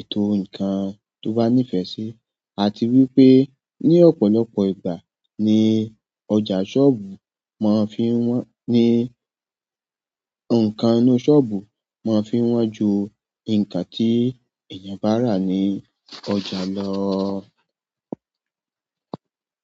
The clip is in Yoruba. ètò ǹkan tó bá nífẹ̀ẹ́ sí. A ti wí pé ní ọ̀pọ̀lọpọ̀ ìgbà ni ọjà sọ́ọ̀bù máa ń fi wọ́n, ní ǹkan inú sọ́ọ̀bù máa ń fi wọ́n ju ǹkan tí èèyàn bá rà ní ọjà lọ.